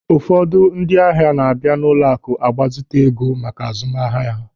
Ụfọdụ ndị ahịa na-abịa n'ụlọaku ịgbazite ego maka azụmahịa.